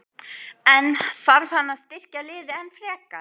En þarf hann að styrkja liðið enn frekar?